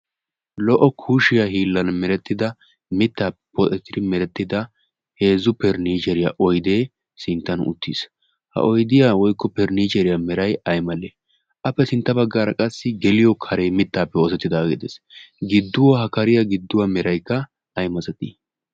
lo'o kushiyaa hiillan merettida mittaape pooettidi merettida hezzu periniiseeriyaa oydee sinttan uttiis ha oidiyaa woikko pernniceeriyaa merai ay mallee appe sintta baggaara qassi geliyo karee mittaappe oozettidaageedees gidduwaa ha kariyaa gidduwaa meraikka ai mazatii?